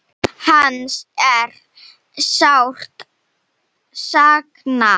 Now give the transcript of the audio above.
Hans er sárt saknað.